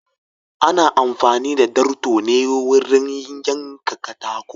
Ana amfani da darto ne wurin yanka katako.